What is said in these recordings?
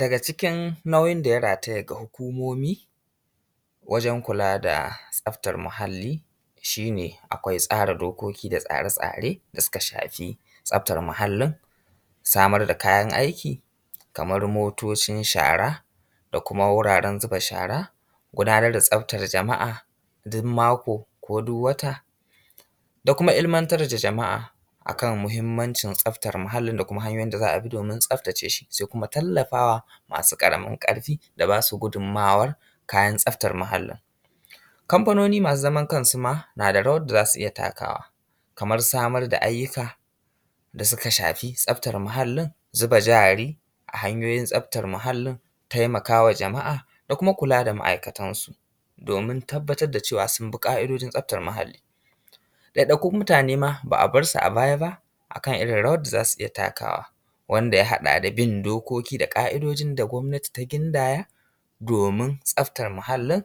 Daga cikin nauyin da ya rataya ga hukumomi, wajen kula da tsabtar muhalli. Shi ne akwai tsara dokoki da tsare-tsare da suka shafi tsabtar muhallin. Samar da kayan aiki kamar motocin shara da kuma wuraren zuba shara. Gudanar da tsabtar jama’a duk mako ko duk wata, da kuma ilmantar da jama’a a kan muhimmancin tsabtar muhallin. Da kuma hanyoyin da za a bi domin tsabtace shi da kuma tallafawa masu ƙaramin ƙarfi. Su ba su gudummawar kayan tsabtar muhallin. Kamfanoni masu zaman kansu ma na da rawar da zasu iya takawa, kamar samar da ayyuka da suka shafi tsabtar muhallin. Zuba jari a hanyoyin tsabtar muhallin, taimaka wa jama’a da kuma kula da ma’aikatansu, domin tabbatar da cewa sun bi ƙa’idojin tsabtar muhalli. ɗaiɗaikun mutane ma ba a bar su a baya ba, a kan rawar da zasu iya takawa, wanda ya haɗa da bin dokoki da ƙa’idojin gwabnati ta gindaya; domin tsabtar muhallin.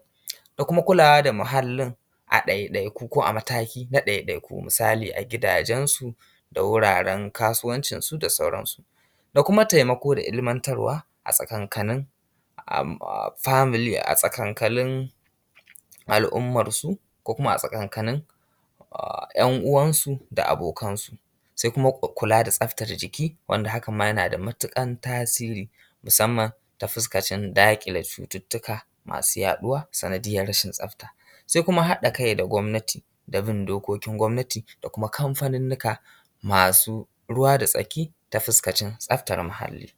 Da kuma kulawa da muhallin a ɗaiɗaiku ko a mataki na ɗaiɗaiku. Misali, a gidajensu da wuraren kasuwancinsu da sauransu. Da kuma taimako da ilmantarwa a tsakanin family, a tsakankanin al’ummansu ko kuma a tsakankanin ‘yan uwansu da abokansu. Su kuma kula da tsabtar jiki wanda hakan ma yana da matuƙar tasiri, musamman ta fuskar daƙile cututtuka masu yaɗuwa sanadiyyar rashin tsabtar. Sai kuma haɗa kai da gwabnati, da bin dokokin gwabnati. Da kuma kamfanannuka masu ruwa da tsaki ta fuskar tsabtar muhalli.